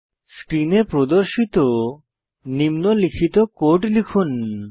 স্ক্রিনে প্রদর্শিত নিম্নলিখিত কোড লিখুন